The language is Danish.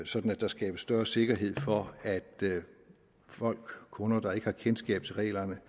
sådan at der skabes større sikkerhed for at folk kunder der ikke har kendskab til reglerne